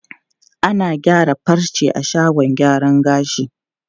Ana gyaran farce a shagon gyaran gashi.